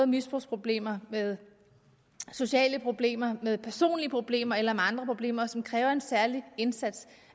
misbrugsproblemer med sociale problemer med personlige problemer eller andre problemer som kræver en særlig indsats